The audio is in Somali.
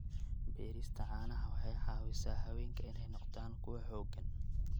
Beerista caanaha waxay caawisaa haweenka inay noqdaan kuwo xooggan.